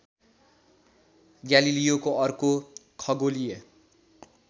ग्यालिलियोको अर्को खगोलीय